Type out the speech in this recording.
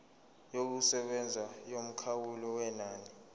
yokusebenza yomkhawulo wenani